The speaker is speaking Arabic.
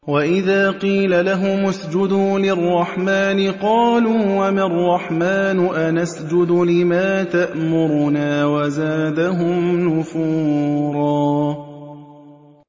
وَإِذَا قِيلَ لَهُمُ اسْجُدُوا لِلرَّحْمَٰنِ قَالُوا وَمَا الرَّحْمَٰنُ أَنَسْجُدُ لِمَا تَأْمُرُنَا وَزَادَهُمْ نُفُورًا ۩